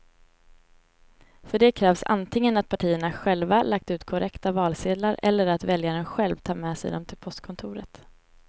För det krävs antingen att partierna själva lagt ut korrekta valsedlar eller att väljaren själv tar med sig dem till postkontoret.